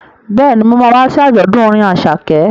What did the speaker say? Bẹ́ẹ̀ni, mo ma wá sí àjọ̀dún orin Àṣàkẹ́